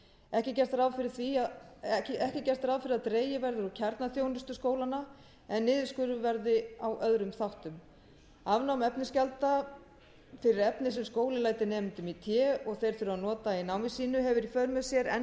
ekki er gert ráð fyrir að dregið verði úr kjarnaþjónustu skólanna en niðurskurður verði á öðrum þáttum afnám efnisgjalda fyrir efni sem skóli lætur nemendum í té og þeir þurfa að nota í námi sínu hefur í för með sér enn